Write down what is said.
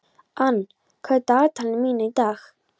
Ann, hvað er í dagatalinu mínu í dag?